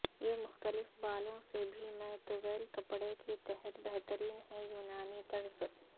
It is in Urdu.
یہ مختلف بالوں سے بھی میں طویل کپڑے کے تحت بہترین ہے یونانی طرز